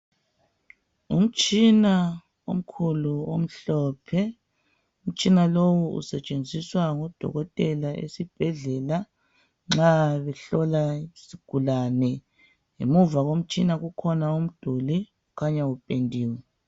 Umtshina omkhulu omhlophe, umtshina lowu usetshenziswa ngudokotela esibhedlela nxa behlola isigulane. Ngemuva komtshina kukhona umduli okhanya upendiwe.